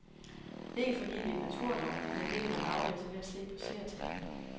Ikke fordi det er en naturlov, men det kan man aflæse ved at se på seertallene.